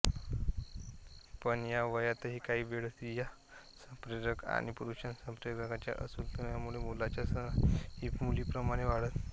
पण या वयात काही वेळा स्त्रीसंप्रेरक आणि पुरुषसंप्रेरकांच्या असंतुलनामुळे मुलाच्या स्तनांचीही मुलीप्रमाणे वाढ होते